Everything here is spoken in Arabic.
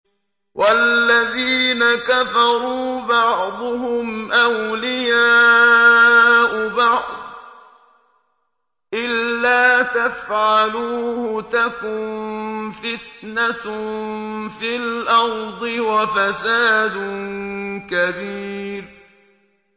وَالَّذِينَ كَفَرُوا بَعْضُهُمْ أَوْلِيَاءُ بَعْضٍ ۚ إِلَّا تَفْعَلُوهُ تَكُن فِتْنَةٌ فِي الْأَرْضِ وَفَسَادٌ كَبِيرٌ